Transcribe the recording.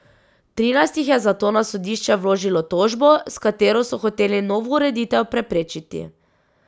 Trinajst jih je zato na sodišče vložilo tožbo, s katero so hoteli novo ureditev preprečiti.